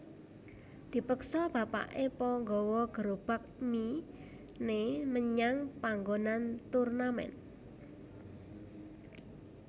Dipeksa bapaké Po gawa gerobak mie né menyang panggonan turnamen